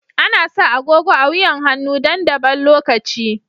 Ana sa agogo a wuyan hannu dan daban lokaci.